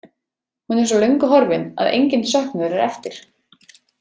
Hún er svo löngu horfin að enginn söknuður er eftir.